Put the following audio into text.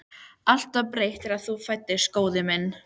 Allt var breytt þegar þú fæddist, góði minn